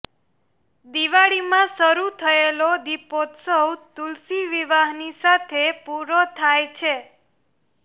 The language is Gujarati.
દિવાળીમાં શરૂ થયેલો દીપોત્સવ તુલસી વિવાહની સાથે પૂરો થાય છે